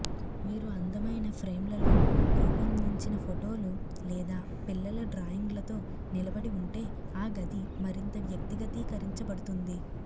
మీరు అందమైన ఫ్రేమ్లలో రూపొందించిన ఫోటోలు లేదా పిల్లల డ్రాయింగ్లతో నిలబడి ఉంటే ఆ గది మరింత వ్యక్తిగతీకరించబడుతుంది